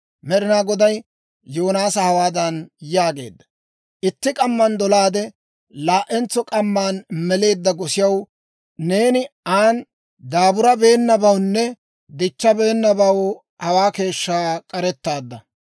Med'inaa Goday Yoonaasa hawaadan yaageedda; «Itti k'amman dolaade, laa"entso k'amma meleedda gosiyaw, neeni an daaburabeenabawunne dichchabeenabaw hawaa keeshshaa k'arettaadda.